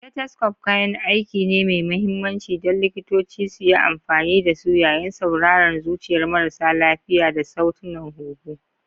Stethoscope kayan aiki ne mai mahimmanci don likitoci suyi amfani da su yayin sauraron zuciyar marasa lafiya da sautunan huhu.